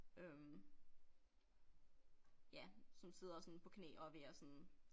Øh ja som sidder sådan på knæ og er ved at sådan